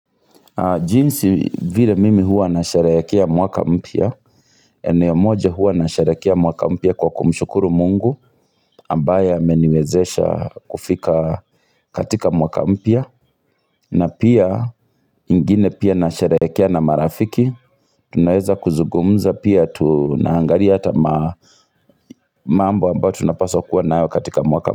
Jinsi vile mimi huwa nasherehekea mwaka mpya nia moja huwa nasharehekea mwaka mpya kwa kumshukuru mungu ambaye ameniwezesha kufika katika mwaka mpya na pia ingine pia nasharayakia na marafiki Tunaweza kuzugumza pia tunahangalia hata mambo ambayo tunapaswa kuwa nao katika mwaka mpya.